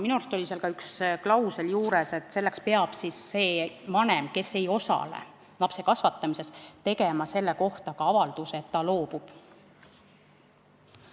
Minu arust oli seal üks klausel juures, et selleks peab siis see vanem, kes ei osale lapse kasvatamises, tegema avalduse, et ta loobub.